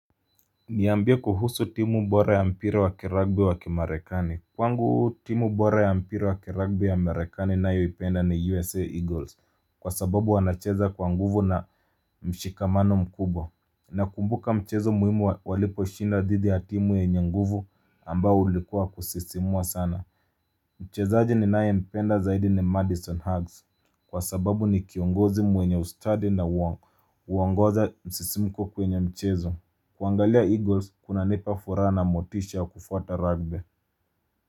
Niambie kuhusu timu bora ya mpira wa kiragbe wa kimarekani Kwangu timu bora ya mpira wa kiragbe wa merekani nayo ipenda ni USA Eagles Kwa sababu wanacheza kwa nguvu na mshikamano mkubwa na kumbuka mchezo muhimu walipo shinda dhidi ya timu yenye nguvu ambao ulikuwa kusisimua sana Mchezaji ni nae mpenda zaidi ni Madison Huggs Kwa sababu ni kiongozi mwenye ustadi na uongoza msisimuko kwenye mchezo kuangalia Eagles, kuna nepa furana motisha kufata rugby.